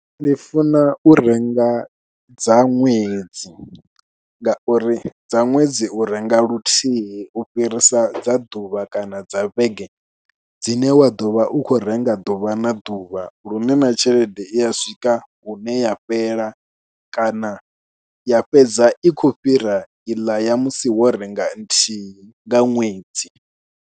Ndi funa u renga dza ṅwedzi ngauri dza ṅwedzi u renga luthihi u fhirisa dza ḓuvha kana dza vhege dzine wa ḓo vha u khou renga nga ḓuvha na ḓuvha lune na tshelede i ya swika hune ya fhela kana ya fhedza i khou fhira iḽa ya musi wo renga nthihi nga ṅwedzi.